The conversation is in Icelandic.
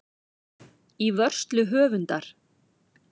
Í vörslu höfundar.